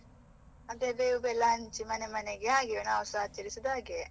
ಅದೇ, ಬೇವು ಬೆಲ್ಲ ಎಲ್ಲ ಹಂಚಿ ಮನೆ ಮನೆಗೆ ಹಂಚಿ ಹಾಗೆವೆ ನಾವುಸ ಆಚರಿಸುವುದು ಹಾಗೆಯೇ.